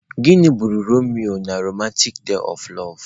Gịnị gburu Romeo na romantic tale of love?